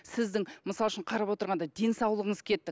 сіздің мысалы үшін қарап отырғанда денсаулығыңыз кетті